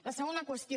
la segona qüestió